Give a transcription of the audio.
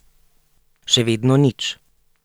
Še vedno nič.